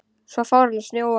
Svo fór að snjóa.